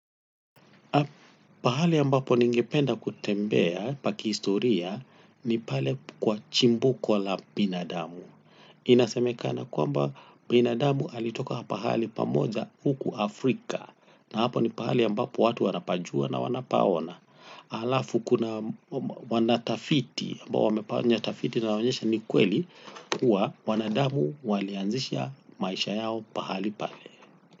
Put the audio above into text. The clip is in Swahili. Pahali ambapo ningependa kutembea pa kistoria ni pale kwa chimbuko la binadamu. Inasemekana kwamba binadamu alitoka pahali pamoja huku Afrika. Na hapo ni pahali ya mbapo watu wanapajua na wanapaona. Alafu kuna wanatafiti, ambao wamefanya tafiti inayo onyesha ni kweli kuwa wanadamu walianzisha maisha yao pahali pale.